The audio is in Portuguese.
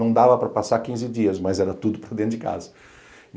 Não dava para passar quinze dias, mas era tudo para dentro de casa.